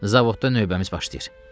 Zavodda növbəmiz başlayır.